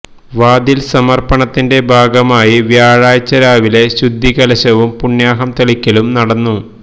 വാതില് സമര്പ്പണത്തിന്റെ ഭാഗമായി വ്യാഴാഴ്ച രാവിലെ ശുദ്ധികലശവും പുണ്യാഹം തളിക്കലും നടന്നു